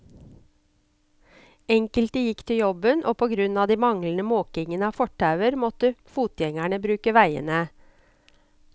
Enkelte gikk til jobben, og på grunn av manglende måking av fortauer måtte fotgjengerne bruke veiene.